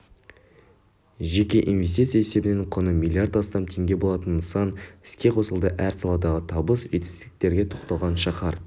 жеке инвестиция есебінен құны млрд астам теңге болатын нысан іске қосылды әр саладағы табыс-жетістіктерге тоқталған шаһар